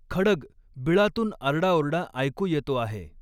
खड्ग, बिळातून आरडाओरडा ऐकू येतो आहे.